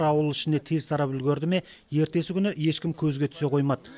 ауыл ішіне тез тарап үлгерді ме ертесі күні ешкім көзге түсе қоймады